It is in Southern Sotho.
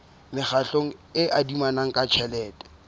mekgatlo e adimanang ka tjhelete